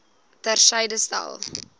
ter syde stel